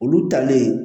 Olu talen